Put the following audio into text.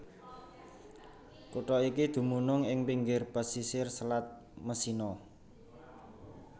Kutha iki dumunung ing pinggir pasisir Selat Messina